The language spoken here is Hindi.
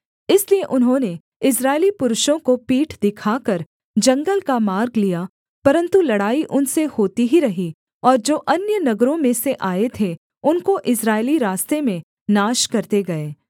इसलिए उन्होंने इस्राएली पुरुषों को पीठ दिखाकर जंगल का मार्ग लिया परन्तु लड़ाई उनसे होती ही रही और जो अन्य नगरों में से आए थे उनको इस्राएली रास्ते में नाश करते गए